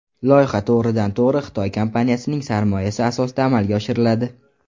Loyiha to‘g‘ridan to‘g‘ri Xitoy kompaniyasining sarmoyasi asosida amalga oshiriladi.